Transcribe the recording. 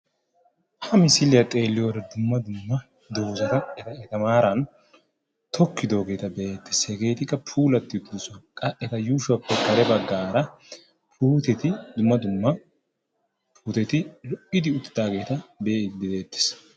ha misiliya xeeliyoode dumma dumma dozata maaran tokkidoogeta be'ettees hegetikka pulati uttidoossona qa eta yushshuwappe putteti dumma dumma puutteti lo"idi uttidaageta be'ettees.